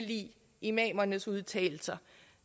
imamernes udtalelser